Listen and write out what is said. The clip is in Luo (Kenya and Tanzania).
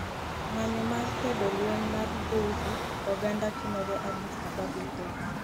ng'anyo mar kwedo lweny mar dhoudi oganda timore addis ababa ethiopia